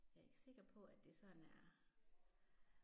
Jeg er ikke sikker på at det sådan er